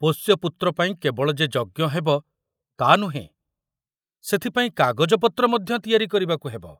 ପୋଷ୍ୟପୁତ୍ର ପାଇଁ କେବଳ ଯେ ଯଜ୍ଞ ହେବ ତା ନୁହେଁ, ସେଥିପାଇଁ କାଗଜପତ୍ର ମଧ୍ୟ ତିଆରି କରିବାକୁ ହେବ।